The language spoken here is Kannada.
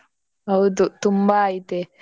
ಹೌದು ತುಂಬಾ ಐತೆ.